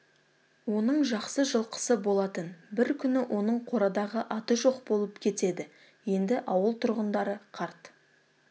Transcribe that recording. оның жақсы жылқысы болатын бір күні оның қорадағы аты жоқ болып кетеді енді ауыл тұрғындары қарт